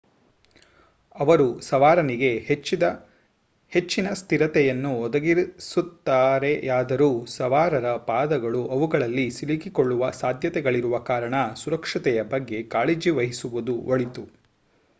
ಅವರು ಸವಾರನಿಗೆ ಹೆಚ್ಚಿನ ಸ್ಥಿರತೆಯನ್ನು ಒದಗಿಸುತ್ತಾರೆಯಾದರೂ ಸವಾರರ ಪಾದಗಳು ಅವುಗಳಲ್ಲಿ ಸಿಲುಕಿಕೊಳ್ಳುವ ಸಾಧ್ಯತೆಗಳಿರುವ ಕಾರಣ ಸುರಕ್ಷತೆಯ ಬಗ್ಗೆ ಕಾಳಜಿವಹಿಸುವುದು ಒಳಿತು